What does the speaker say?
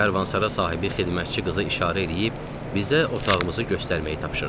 Karvansara sahibi xidmətçi qızı işarə eləyib bizə otağımızı göstərməyi tapşırdı.